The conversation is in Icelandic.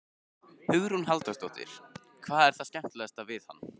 Hugrún Halldórsdóttir: Hvað er það skemmtilegasta við hann?